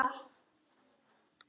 Það sem má ekki vanta!